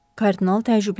Kardinal təəccübləndi.